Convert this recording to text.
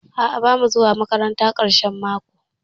A'a bamu zuwa makaranta ƙarshen mako.